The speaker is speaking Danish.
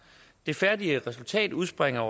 det færdige resultat udspringer